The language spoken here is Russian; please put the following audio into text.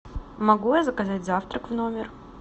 могу я заказать завтрак в номер